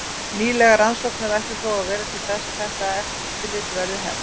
Nýlegar rannsóknir ættu þó að verða til þess að þetta eftirlit verði hert.